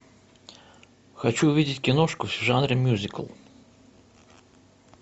хочу увидеть киношку в жанре мюзикл